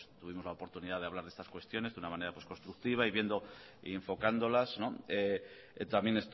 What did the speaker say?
tuvimos la oportunidad de hablar de estas cuestiones de una manera pues constructiva y viendo y enfocándolas también